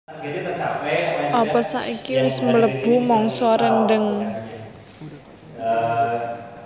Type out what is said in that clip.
opo saiki wes mlebu mangsa rendheng